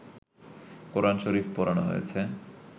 কোরআন শরীফ পোড়ানো হয়েছে